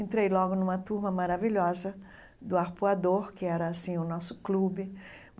Entrei logo numa turma maravilhosa do Arpoador, que era assim o nosso clube.